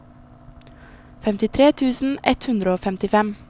femtitre tusen ett hundre og femtifem